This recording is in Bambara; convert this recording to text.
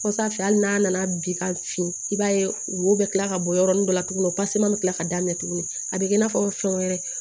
Kɔsa hali n'a nana bin ka fin i b'a ye wo bɛ kila ka bɔ yɔrɔnin dɔ la tugunni pase ma kila ka daminɛ tugunni a bɛ kɛ i n'a fɔ fɛn wɛrɛ